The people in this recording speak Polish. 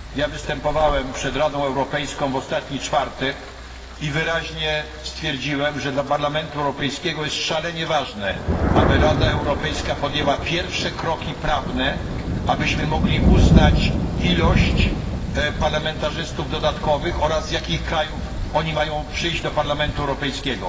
Występowałem przed Radą Europejską w ostatni czwartek i wyraźnie stwierdziłem, że dla Parlamentu Europejskiego jest szalenie ważne, by Rada Europejska podjęła pierwsze kroki prawne, abyśmy mogli uznać liczbę dodatkowych parlamentarzystów oraz z jakich krajów mają oni przyjść do Parlamentu Europejskiego.